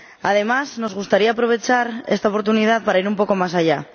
Además, nos gustaría aprovechar esta oportunidad para ir un poco más allá.